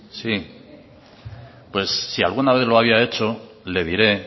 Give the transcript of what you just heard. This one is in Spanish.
sí pues si alguna vez lo había hecho le diré